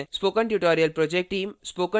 spoken tutorial project team